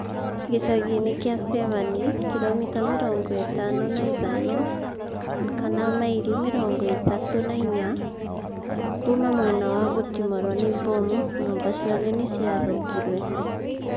Gĩcagi kĩa Severny, kiromita mĩrongo ithano na ithano ama maili mirongo ithatu na inya, kuuma mwena wa gutimorwo ni bomu nyumba ciothe niciathukirwe